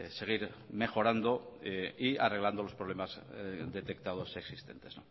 seguir mejorando y arreglando los problemas detectados y existentes